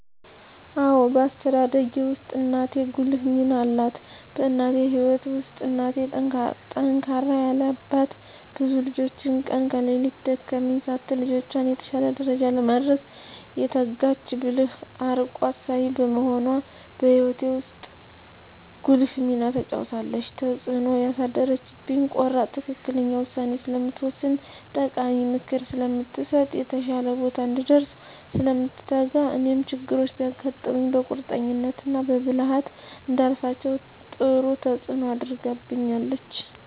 አዎ በአስተዳደጌ ውስጥ እናቴ ጉልህ ሚና አላት በእኔ ህይወት ውስጥ እናቴ ጠንካራ ያለ አባት ብዙ ልጆችን ቀን ከሌት ደከመኝ ሳትል ልጆቿን የተሻለ ደረጃ ለማድረስ የተጋች ብልህ አርቆ አሳቢ በመሆኗ በእኔ ህይወት ውስጥ ጉልህ ሚና ተጫውታለች። ተፅእኖ ያሳደረችብኝ ቆራጥ ትክክለኛ ውሳኔ ስለምትወስን ጠቃሚ ምክር ስለምትሰጥ፣ የተሻለ ቦታ እንድንደርስ ስለምትተጋ እኔም ችግሮች ቢያጋጥሙኝ በቁርጠኝነት እና በብልሀት እንዳልፋቸው ጥሩ ተፅኖ አድርጋብኛለች።